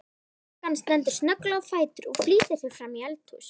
Stúlkan stendur snögglega á fætur og flýtir sér framí eldhús.